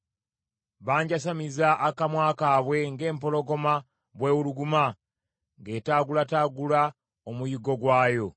Banjasamiza akamwa kaabwe ng’empologoma bw’ewuluguma ng’etaagulataagula omuyiggo gwayo.